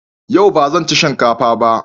Yau ba zan ci shinka fa ba.